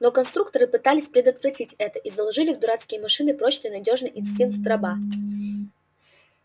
но конструкторы пытались предотвратить это и заложили в дурацкие машины прочный надёжный инстинкт раба